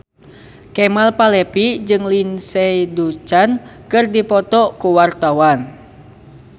Kemal Palevi jeung Lindsay Ducan keur dipoto ku wartawan